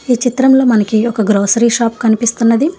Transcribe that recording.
ఈ చిత్రంలో మనకి ఒక గ్రోసరి షాప్ కనిపిస్తున్నది.